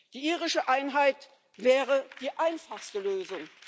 Die irische Einheit wäre die einfachste Lösung.